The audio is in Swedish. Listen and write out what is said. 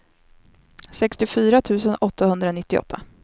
sextiofyra tusen åttahundranittioåtta